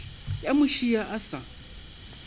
ya mo šia a sa